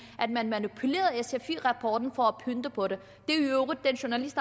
at man manipulerede sfi rapporten for at pynte på det den journalist